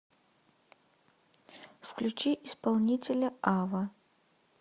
включи исполнителя ава